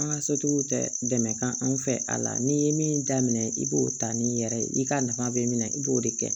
An ka sotigiw tɛ dɛmɛ kan anw fɛ a la n'i ye min daminɛ i b'o ta n'i yɛrɛ ye i ka nafa bɛ minɛ i b'o de kɛ